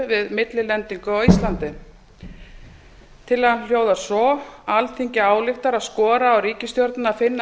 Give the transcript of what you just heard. við millilendingu á íslandi tillagan hljóðar svo alþingi ályktar að skora á ríkisstjórnina að finna